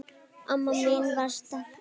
Amma mín var sterk.